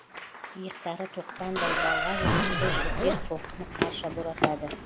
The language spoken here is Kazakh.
иықтары тоқпандай балға жұдырықты жігіттер соққыны қарша боратады